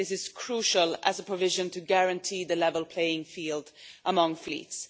I think this is crucial as a provision to guarantee the level playing field among fleets.